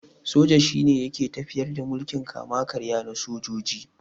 Soja shine yake tafiyar da mulkin kama-karya na sojoji.